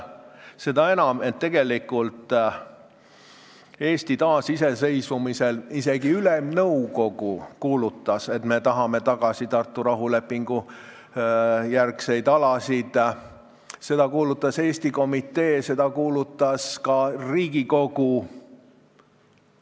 Seda enam, et tegelikult Eesti taasiseseisvumise ajal isegi Ülemnõukogu kuulutas, et me tahame tagasi Tartu rahulepingu järgseid alasid, seda kuulutas Eesti Komitee, seda kuulutas ka Riigikogu.